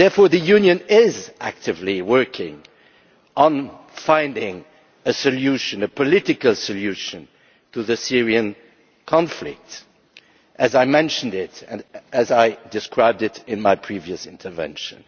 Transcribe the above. The Union is therefore actively working on finding a solution a political solution to the Syrian conflict, as I mentioned and as I described in my previous intervention.